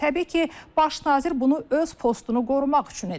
Təbii ki, baş nazir bunu öz postunu qorumaq üçün edir.